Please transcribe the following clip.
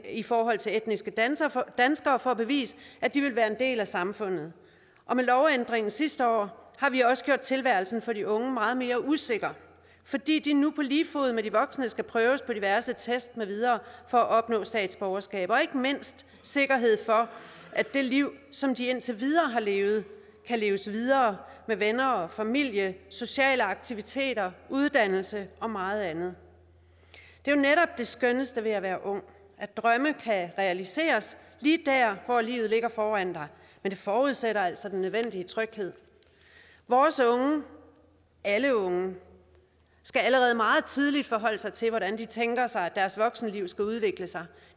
i forhold til etniske danskere for at bevise at de vil være en del af samfundet og med lovændringen sidste år har vi også gjort tilværelsen for de unge meget mere usikker fordi de nu på lige fod med de voksne skal prøves i diverse test med videre for at opnå statsborgerskab og ikke mindst sikkerhed for at det liv som de indtil videre har levet kan leves videre med venner og familie sociale aktiviteter uddannelse og meget andet det er netop det skønneste ved at være ung at drømme kan realiseres lige der hvor livet ligger foran dig men det forudsætter altså den nødvendige tryghed vores unge alle unge skal allerede meget tidligt forholde sig til hvordan de tænker sig at deres voksenliv skal udvikle sig